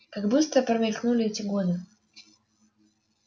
как быстро промелькнули эти годы